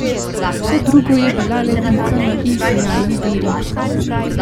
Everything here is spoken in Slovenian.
Vse drugo je bilo le pika na i sijajni beri.